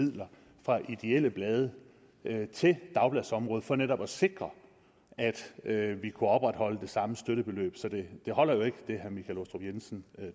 midler fra ideelle blade til dagbladsområdet for netop at sikre at vi kunne opretholde det samme støttebeløb så det holder jo ikke hvad herre michael aastrup jensen